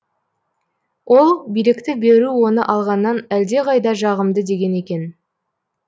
ол билікті беру оны алғаннан әлдеқайда жағымды деген екен